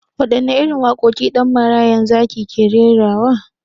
Waɗanne irin waƙoƙi Ɗan marayan zaki ke rerawa?